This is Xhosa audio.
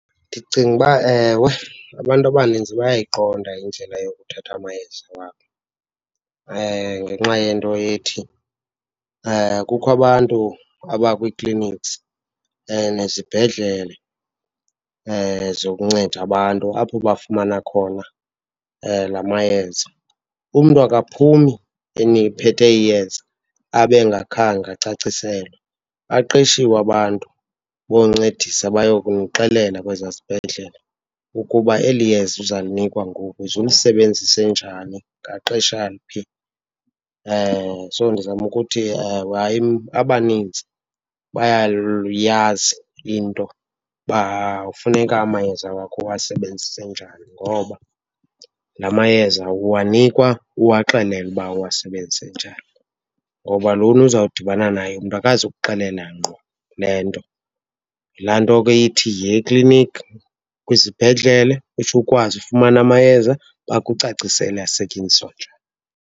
Ndicinga uba ewe, abantu abanintsi bayayiqonda indlela yokuthatha amayeza wabo ngenxa yento ethi kukho abantu abakwi-clinics, nezibhedlele zokunceda abantu apho bafumana khona la mayeza. Umntu akaphumi ephethe iyeza abe angakhange acaciselwe. Baqeshiwe abantu boncedisa bayokumxelela kwesaa sibhedlele ukuba eli yeza uzalinikwa ngoku uze ulisebenzise njani ngaxesha liphi. So, ndizama ukuthi hayi abanintsi bayayazi into uba ufuneka amayeza wakho uwasebenzise njani ngoba la mayeza uwanikwa uwaxelelwe uba uwasebenzise njani. Ngoba lona uzawudibana naye umntu akazukuxelela ngqo le nto. Yilaa nto ke ithi yiya ekliniki, kwizibhedlele, utsho ukwazi ufumana amayeza, bakucacisele asetyenziswa njani.